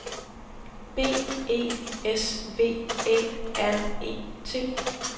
B E S V Æ R E T